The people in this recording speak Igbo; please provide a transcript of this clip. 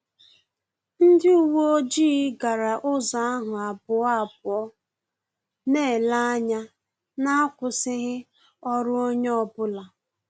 Ndị uwe ojii gara ụzọ ahụ abụọ abụọ, na-ele anya na-akwụsịghị ọrụ onye ọ bụla